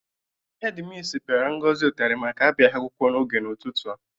Hedi misi pịara Ngozi ụtarị maka abịaghị akwụkwọ n'oge n'ụtụtụ a.